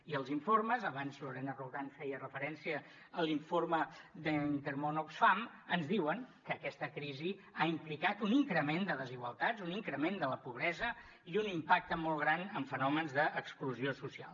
i els informes abans lorena roldán feia referència a l’informe d’intermón oxfam ens diuen que aquesta crisi ha implicat un increment de desigualtats un increment de la pobresa i un impacte molt gran en fenòmens d’exclusió social